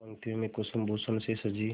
पंक्तियों में कुसुमभूषण से सजी